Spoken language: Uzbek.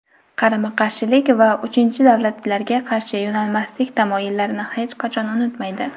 qarama-qarshilik va uchinchi davlatlarga qarshi yo‘nalmaslik tamoyillarini hech qachon unutmaydi.